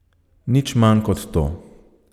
Nič manj kot to.